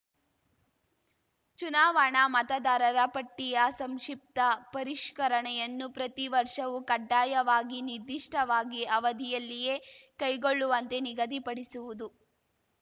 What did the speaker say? ಚುನಾವಣಾ ಮತದಾರರ ಪಟ್ಟಿಯ ಸಂಕ್ಷಿಪ್ತ ಪರಿಷ್ಕರಣೆಯನ್ನು ಪ್ರತಿ ವರ್ಷವೂ ಕಡ್ಡಾಯವಾಗಿ ನಿದಿಷ್ಟವಾಗಿ ಅವಧಿಯಲ್ಲಿಯೇ ಕೈಗೊಳ್ಳುವಂತೆ ನಿಗದಿಪಡಿಸುವುದು